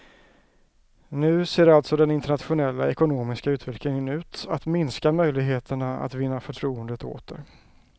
Nu ser alltså den internationella ekonomiska utvecklingen ut att minska möjligheterna att vinna förtroendet åter.